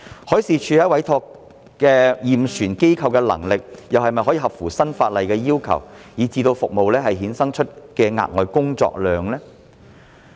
海事處委託驗船機構的能力又是否符合新法例的要求，以致服務衍生額外的工作量？